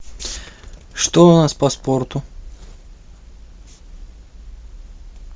что у нас по спорту